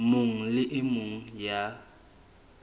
mong le e mong ya